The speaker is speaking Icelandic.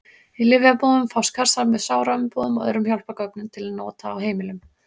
Í lyfjabúðum fást kassar með sáraumbúðum og öðrum hjálpargögnum til nota á heimilum.